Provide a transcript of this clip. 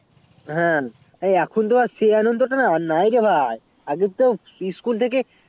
হ্যাঁ এখন টি সেই আনন্দটা আর নাই রে ভাই আগে তো school থেকে